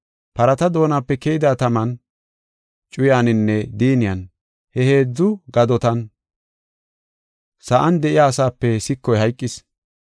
Parata doonape keyida taman, cuyaninne diinniyan he heedzu gadotan sa7an de7iya asaape sikoy hayqis.